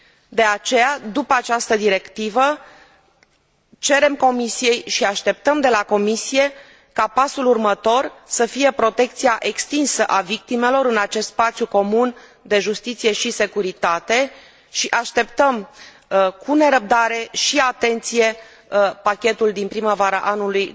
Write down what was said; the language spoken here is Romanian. De aceea, după această directivă, cerem Comisiei și așteptăm de la Comisie ca pasul următor să fie protecția extinsă a victimelor în acest spațiu comun de justiție și securitate și așteptăm cu nerăbdare și atenție pachetul din primăvara anului